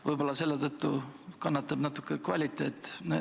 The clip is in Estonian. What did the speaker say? Võib-olla selle tõttu kannatab natuke kvaliteet.